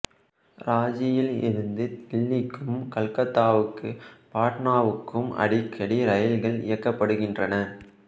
ராஞ்சியில் இருந்து தில்லிக்கும் கல்கத்தாவுக்கு பாட்னாவுக்கும் அடிக்கடி ரயில்கள் இயக்கப்படுகின்றன